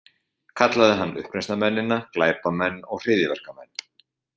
Kallaði hann uppreisnarmennina glæpamenn og hryðjuverkamenn